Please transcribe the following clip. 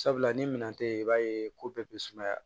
Sabula ni minɛn tɛ yen i b'a ye ko bɛɛ bɛ sumaya